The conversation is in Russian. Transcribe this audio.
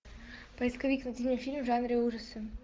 поисковик найди мне фильм в жанре ужасы